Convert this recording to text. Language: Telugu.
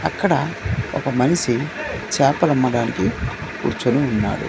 అక్కడ ఒక మనిషి చేపలమ్మడానికి కూర్చోని ఉన్నాడు.